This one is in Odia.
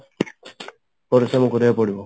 ପରିଶ୍ରମ କରିବାକୁ ପଡିବ